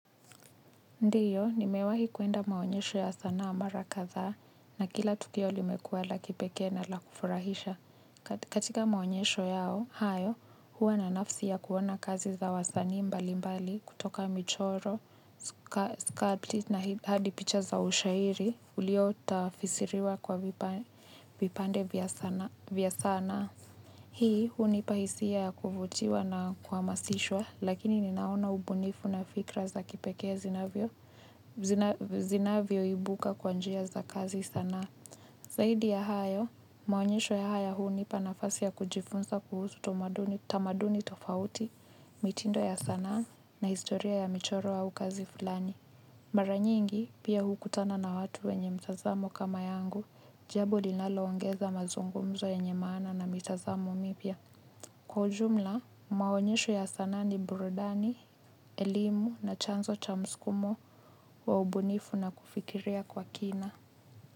Ndiyo, nimewahi kwenda maonyesho ya sanaa mara kadhaa na kila tukio limekuwa la kipekee na la kufurahisha. Katika maonyesho yao, hayo, huwa na nafsi ya kuwana kazi za wasani mbali mbali kutoka michoro, sculpt na hadipicha za ushairi, ulio utafisiriwa kwa vipande vya sana. Hii, hunipahisia ya kuvutiwa na kuha masishwa, lakini ninaona ubunifu na fikra za kipeke zi na vyo. Zina vyoibuka kwanjia za kazi sana. Zaidi ya hayo, maonyesho ya haya huu ni panafasi ya kujifunza kuhusu tamaduni tofauti, mitindo ya sana na historia ya michoro au kazi fulani. Maranyi ingi pia hukutana na watu wenye mtazamo kama yangu, jambo linalo ongeza mazungumzo ya nyemana na mitazamo mipya. Kwa ujumla, maonyesho ya sana ni burudani, elimu na chanzo cha msukumo wa ubunifu na kufikiria kwa kina.